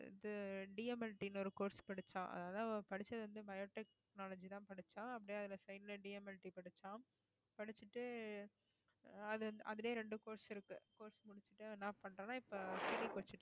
இது DMLT ன்னு ஒரு course படிச்சா அதாவது அவள் படிச்சது வந்து bio technology தான் படிச்சா அப்படியே அதுல side ல DMLT தான் படிச்சா படிச்சுட்டு அது அதிலேயே ரெண்டு course இருக்கு course முடுச்சிட்டு என்ன பண்றனா இப்ப